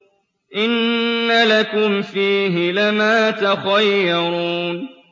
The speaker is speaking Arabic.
إِنَّ لَكُمْ فِيهِ لَمَا تَخَيَّرُونَ